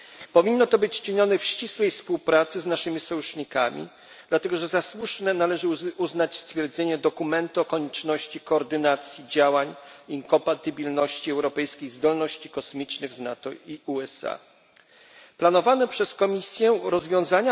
Powinno to być czynione w ścisłej współpracy z naszymi sojusznikami, dlatego że za słuszne należy uznać stwierdzenie dokumentu o konieczności koordynacji działań i kompatybilności europejskich zdolności kosmicznych z